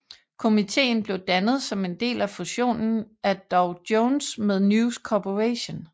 Komitéen blev dannet som en del af fusionen af Dow Jones med News Corporation